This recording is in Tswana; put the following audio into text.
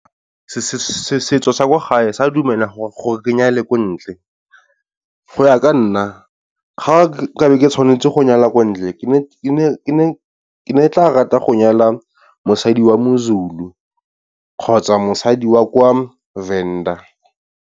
Setso sa kwa gae sa dumela gore ke nyale ko ntle, go ya ka nna ga nka be ke tshwanetse go nyala ko ntle, ke ne ke tla rata go nyala mosadi wa moZulu kgotsa mosadi wa kwa Venda.